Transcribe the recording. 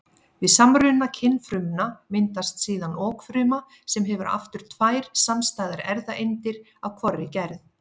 Við samruna kynfrumna myndast síðan okfruma sem hefur aftur tvær samstæðar erfðaeindir af hvorri gerð.